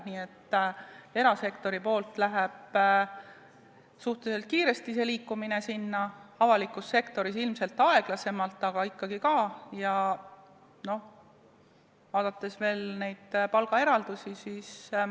Nii et erasektoris jõuab suhteliselt kiiresti see liikumine selleni, avalikus sektoris ilmselt aeglasemalt, aga see toimub ikkagi ka.